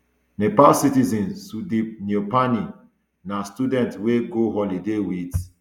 nepal citizen sudip neupane na student wey go holiday wit